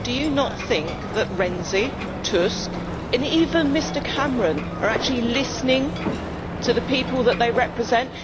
Madam, do you not think that Mr Renzi, Mr Tusk and even Mr Cameron are actually listening to the people that they represent?